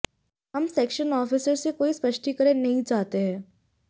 हम section officer से कोई स्पष्टीकरण नहीं चाहते हैं